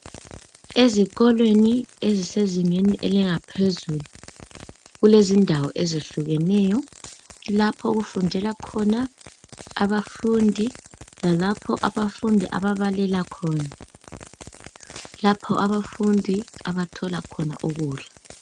Ezikolweni ezisezingeni elingaphezulu kulezindawo ezehlukeneyo lapho okufundela khona abafundi lalapho abafundi ababalela khona lapho abafundi abathola khona ukudla.